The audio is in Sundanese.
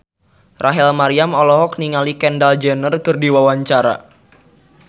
Rachel Maryam olohok ningali Kendall Jenner keur diwawancara